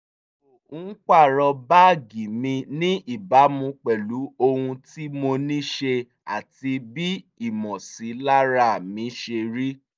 mo ń pààrọ̀ báàgì mi ní ìbámu pẹ̀lú ohun tí mo ní ṣe àti bí ìmọ̀sílára mi ṣe rí